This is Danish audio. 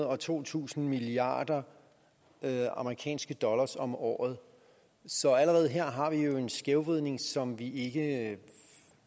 og to tusind milliard amerikanske dollar om året så allerede her har vi jo en skævvridning som vi ikke